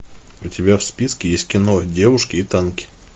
у тебя в списке есть кино девушки и танки